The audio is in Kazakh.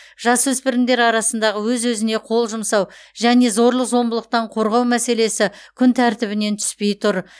жасөспірімдер арасындағы өз өзіне қол жұмсау және зорлық зомбылықтан қорғау мәселесі күн тәртібінен түспей тұр